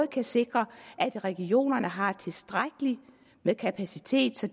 kan sikre at regionerne har tilstrækkelig med kapacitet så